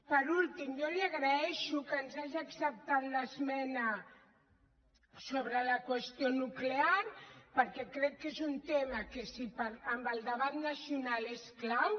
per últim jo li agraeixo que ens hagi acceptat l’esmena sobre la qüestió nuclear perquè crec que és un tema que en el debat nacional és clau